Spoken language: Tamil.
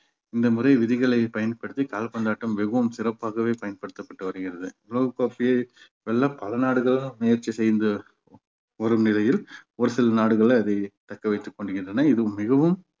இந்த முறை விதிகளை பயன்படுத்தி கால்பந்தாட்டம் மிகவும் சிறப்பாகவே பயன்படுத்தப்பட்டு வருகிறது உலக கோப்பையை வெல்ல பல நாடுகள் முயற்சி செய்து வரும் நிலையில் ஒரு சில நாடுகள் அதை தக்க வைத்துக் கொண்டிருக்கின்றன. இது மிகவும்